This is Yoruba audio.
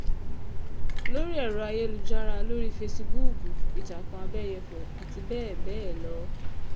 lórí èrò ayélujára lórí fẹsibúùkù ìtàkùn àbẹ́yẹ́fọ́ àti bẹ́ẹ̀ bẹ́ẹ̀ lọ